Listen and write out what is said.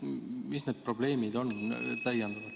Mis need probleemid on?